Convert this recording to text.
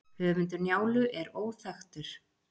höfundur njálu er óþekktur